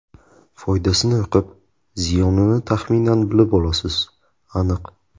Foydasini o‘qib, ziyonini taxminan bilib olasiz, aniq.